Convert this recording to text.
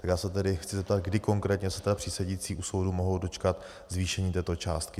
Tak já se tedy chci zeptat, kdy konkrétně se tedy přísedící u soudu mohou dočkat zvýšení této částky.